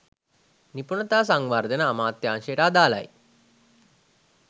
නිපුණතා සංවර්ධන අමාත්‍යාංශයට අදාළයි.